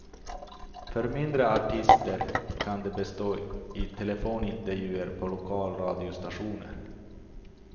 För mindre artister kan det bestå i telefonintervjuer på lokalradiostationer.